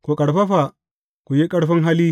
Ku ƙarfafa, ku yi ƙarfin hali.